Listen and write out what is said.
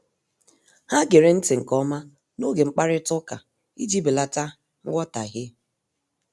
Ha gere nti nke ọma n'oge mkparịta ụka iji belata nghọtahie.